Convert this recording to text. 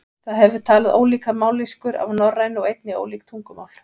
Það hefur talað ólíkar mállýskur af norrænu og einnig ólík tungumál.